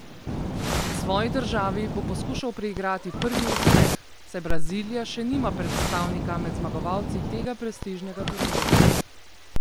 Svoji državi bo poskušal priigrati prvi uspeh, saj Brazilija še nima predstavnika med zmagovalci tega prestižnega turnirja.